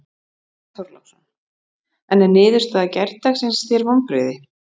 Björn Þorláksson: En er niðurstaða gærdagsins þér vonbrigði?